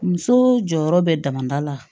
Muso jɔyɔrɔ bɛ damada la